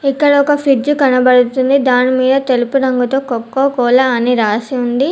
ఇక్కడ ఒక ఫ్రిజ్జు కనబడుతుంది దాని మీద తెలుపు రంగుతో కొక్కో కోలా అని రాసి ఉంది.